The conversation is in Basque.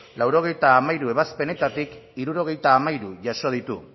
laurogeita hamairu ebazpenetatik hirurogeita hamairu jaso ditu